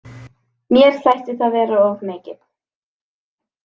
Mér þætti það vera of mikið.